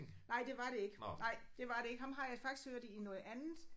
Nej det var det ikke nej det var det ikke ham har jeg faktisk hørt i noget andet